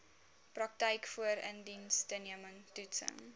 praktyk voorindiensneming toetsing